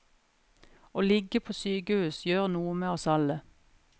Å ligge på sykehus gjør noe med oss alle.